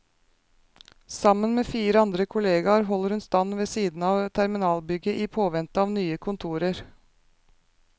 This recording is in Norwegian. Sammen med fire andre kolleger holder hun stand ved siden av terminalbygget i påvente av nye kontorer.